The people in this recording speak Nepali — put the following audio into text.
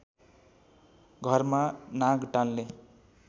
घरमा नाग टाल्ने